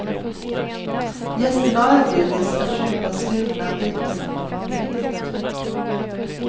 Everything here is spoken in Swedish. Gästerna har erbjudits att köpa stulna biltelefoner billigt.